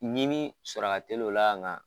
Ɲini sɔrɔ ka teli o la kan